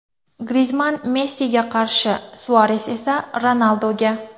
Grizmann Messiga qarshi, Suares esa Ronalduga.